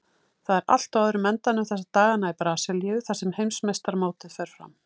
Það er allt á öðrum endanum þessa dagana í Brasilíu þar sem heimsmeistaramótið fer fram.